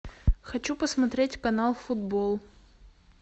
хочу посмотреть канал футбол